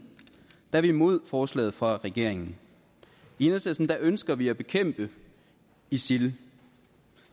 er vi imod forslaget fra regeringen i enhedslisten ønsker vi at bekæmpe isil